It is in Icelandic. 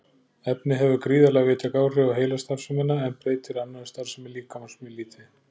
Efnið hefur gríðarlega víðtæk áhrif á heilastarfsemina en breytir annarri starfsemi líkamans mjög lítið.